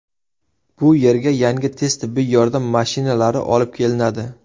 Bu yerga yangi tez tibbiy yordam mashinalari olib kelinadi.